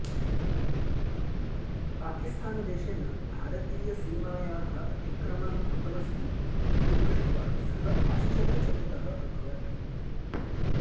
पाकिस्थानदेशेन भारतीयसीमायाः अतिक्रमणं कृतमस्ति इति दृष्ट्वा सः आश्चर्यचकितः अभवत्